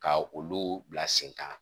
Ka olu bila sen kan